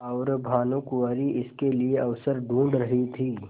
और भानुकुँवरि इसके लिए अवसर ढूँढ़ रही थी